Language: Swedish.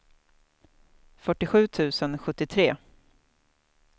fyrtiosju tusen sjuttiotre